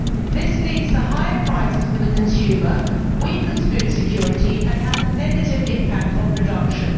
This leads to higher prices for the consumer, weakens food security and has a negative impact on production.